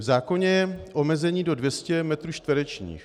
V zákoně je omezení do 200 metrů čtverečních.